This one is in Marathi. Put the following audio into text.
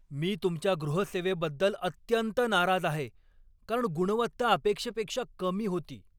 मी तुमच्या गृहसेवेबद्दल अत्यंत नाराज आहे, कारण गुणवत्ता अपेक्षेपेक्षा कमी होती.